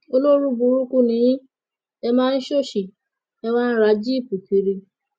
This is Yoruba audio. olórúburúkú ni yín èé máa ṣọsi ẹ wàá ń ra jíìpù kiri